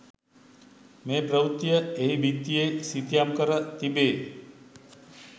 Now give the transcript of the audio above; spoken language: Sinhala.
මේ ප්‍රවෘත්තිය එහි බිත්තියේ සිතියම් කර තිබේ.